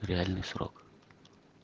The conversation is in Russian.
реальный срок